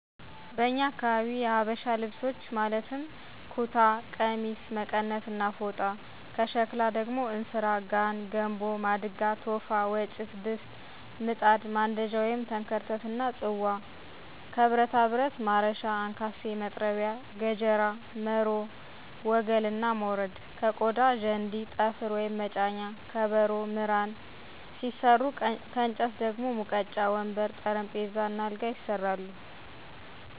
በኛ አካባቢ የሀበሻ ልብሶች ማለትም ኩታ፣ ቀሚስ፣ መቀነት እና ፎጣ፤ ከሸክላ እንስራ፣ ጋን፣ ገንቦ፣ ማድጋ፣ ቶፋ፣ ወጭት፣ ድስት፣ ምጣድ፣ ማንደጃ(ተንከርተት)እና ጽዋ፤ ከብረታብረት ማረሻ፣ አንካሴ፣ መጥረቢያ፣ ገጀራ፣ መሮ፣ ወገል እና ሞረድ፤ ከቆዳ ዠንዲ፣ ጠፍር(መጫኛ)፣ከበሮ፣ ምራን ሲሰሩ ከእንጨት ደግሞ ሙቀጫ፣ ወንበር፣ ጠረንጴዛ፣ አልጋ ይሰራሉ።